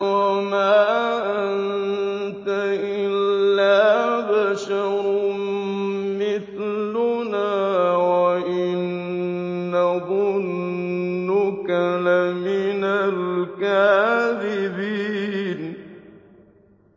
وَمَا أَنتَ إِلَّا بَشَرٌ مِّثْلُنَا وَإِن نَّظُنُّكَ لَمِنَ الْكَاذِبِينَ